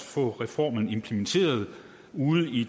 få reformen implementeret ude i